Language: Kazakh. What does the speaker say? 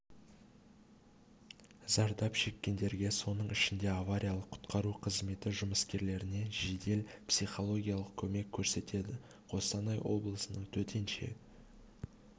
зардап шеккендерге соның ішінде авариялық құтқару қызметі жұмыскерлеріне жедел психологиялық көмек көрсетеді қостанай облысының төтенше